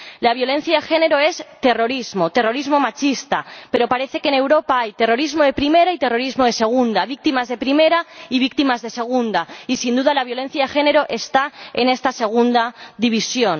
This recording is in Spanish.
La violencia de género es terrorismo, terrorismo machista, pero parece que en Europa hay terrorismo de primera y terrorismo de segunda, víctimas de primera y víctimas de segunda, y, sin duda, la violencia de género está en esta segunda división.